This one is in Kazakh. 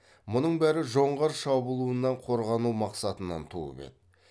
мұның бәрі жоңғар шабуылынан қорғану мақсатынан туып еді